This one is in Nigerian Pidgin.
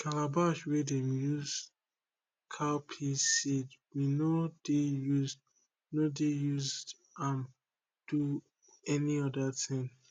calabash wey dem use keep cowpea seed we no dey used no dey used am do any other thing